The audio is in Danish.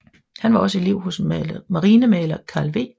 Han var også elev hos marinemaler Carl W